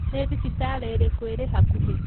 Nĩ thibitarĩ ĩrĩkũ ĩrĩ hakuhĩ.